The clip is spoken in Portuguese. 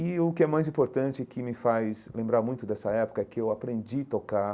E o que é mais importante e que me faz lembrar muito dessa época é que eu aprendi tocar